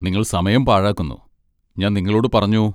നിങ്ങൾ സമയം പാഴാക്കുന്നു, ഞാൻ നിങ്ങളോട് പറഞ്ഞു.